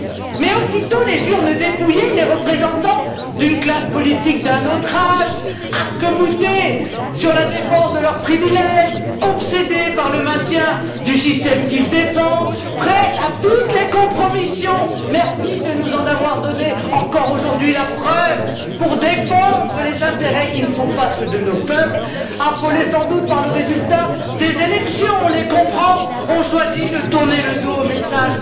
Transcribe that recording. Mais aussitôt les urnes dépouillées, les représentants d'une classe politique d'un autre âge arc boutés sur la défense de leurs privilèges et obsédés par le maintien du système qu'ils défendent, prêts à toutes les compromissions merci de nous en avoir donné encore aujourd'hui la preuve pour défendre les intérêts qui ne sont pas ceux de nos peuples, affolés sans doute par le résultat des élections on les comprend ont choisi de tourner le dos au message